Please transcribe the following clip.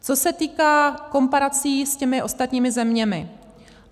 Co se týká komparací s těmi ostatními zeměmi.